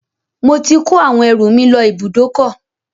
Mo ti ko àwọn ẹrù mi lọ ibùdókọ̀